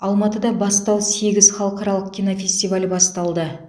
алматыда бастау сегіз халықаралық кинофестивалі басталды